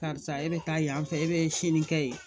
Karisa e bɛ taa yan fɛ e bɛ sini kɛ ye